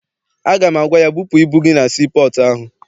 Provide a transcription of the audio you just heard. Aga m agwa ya, bupụ ibu gị na sii pọọtụ ahụ!